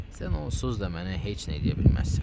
Sən onsuz da mənə heç nə eləyə bilməzsən.